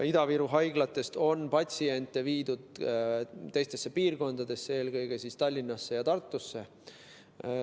Ida-Viru haiglatest on patsiente viidud teistesse piirkondadesse, eelkõige Tallinnasse ja Tartusse.